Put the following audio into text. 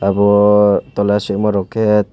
abo tola sima rok ke.